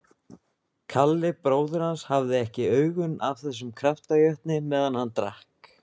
Kalli bróðir hans hafði ekki augun af þessum kraftajötni meðan hann drakk